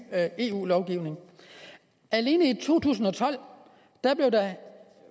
eu lovgivning alene i to tusind og tolv blev der